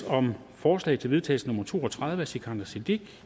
om forslag til vedtagelse nummer v to og tredive af sikandar siddique